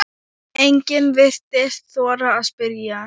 Enginn virtist þora að spyrja